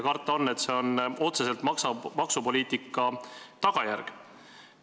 Karta on, et see on maksupoliitika otsene tagajärg.